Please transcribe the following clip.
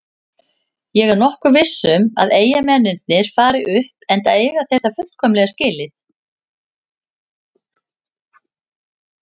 Ég er nokkuð viss um að Eyjamennirnir fari upp enda eiga þeir það fullkomlega skilið.